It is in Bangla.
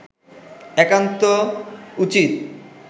একান্ত উচিত